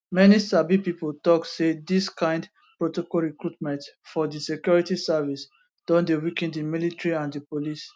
many sabi pipo tok say dis kind protocol recruitment for di security service don dey weaken di military and di police